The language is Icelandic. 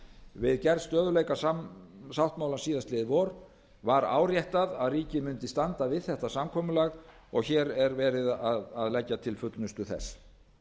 við gerð stöðugleikasáttmála síðastliðið vor var áréttað ríkið mundi standa við þetta samkomulag og hér er verið að leggja til fullnustu þess